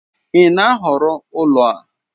Ị na-ahọrọ ụlọ a?